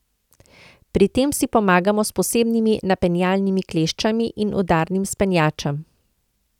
Pri tem si pomagamo s posebnimi napenjalnimi kleščami in udarnim spenjačem.